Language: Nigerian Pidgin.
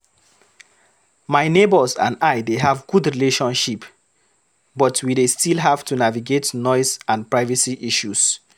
My neighbors and I dey have good relationship, but we dey still have to navigate noise and privacy issues.